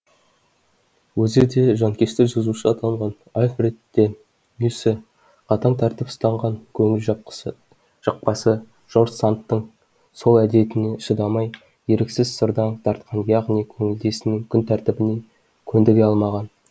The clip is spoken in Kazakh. өзі де жанкешті жазушы атанған альфред де мюссе қатаң тәртіп ұстанған көңілжақпасы жорж сандтың сол әдетіне шыдамай еріксіз сырдаң тартқан яғни көңілдесінің күнтәртібіне көндіре алмаған